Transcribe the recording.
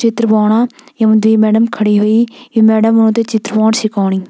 चित्र बनोणा येमा द्वि मैडम खड़ीं होईं ये मैडम उन्थे चित्र बनोंण सिखोणी।